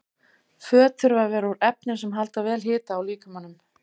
Föt þurfa að vera úr efnum sem halda vel hita að líkamanum.